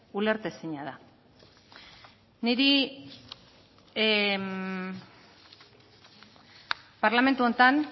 ulertezina da niri parlamentu honetan